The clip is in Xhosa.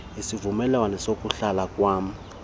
isivumelwano sokuhlala kwam